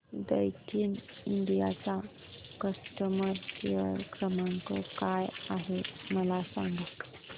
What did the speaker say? Daikin India चा customer care क्रमांक काय आहे मला सांगा